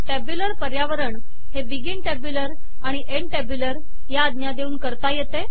tabular पर्यावरण हे begin tabular आणि एन्ड टॅब्यूलर या आज्ञा देऊन तयार करता येते